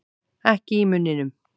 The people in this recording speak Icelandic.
Ekki í munninum.